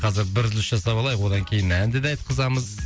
қазір бір үзіліс жасап алайық одан кейін әнді де айтқызамыз